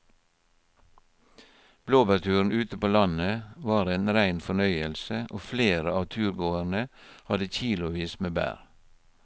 Blåbærturen ute på landet var en rein fornøyelse og flere av turgåerene hadde kilosvis med bær.